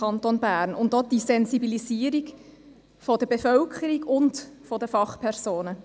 Dazu gehört auch die Sensibilisierung der Bevölkerung und der Fachpersonen.